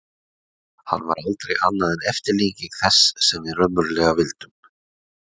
Hann var aldrei annað en eftirlíking þess sem við raunverulega vildum.